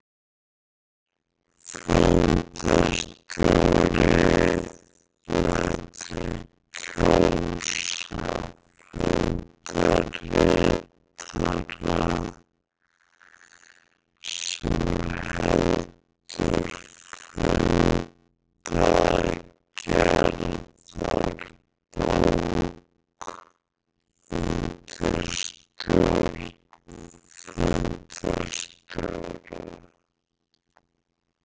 Fundarstjóri lætur kjósa fundarritara sem heldur fundagerðarbók undir stjórn fundarstjóra.